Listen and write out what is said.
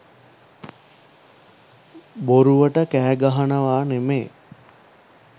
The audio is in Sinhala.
බොරුවට කෑගහනවා නෙමේ